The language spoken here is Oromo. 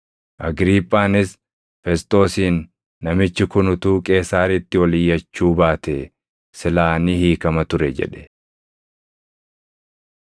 Agriiphaanis Fesxoosiin, “Namichi kun utuu Qeesaaritti ol iyyachuu baatee silaa ni hiikama ture” jedhe.